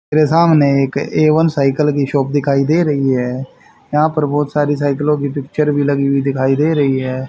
मेरे सामने एक ए वन साइकल की शॉप दिखाई दे रही है यहां पर बहोत सारी साइकिलों की पिक्चर भी लगी हुई दिखाई दे रही है।